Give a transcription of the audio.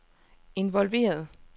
involveret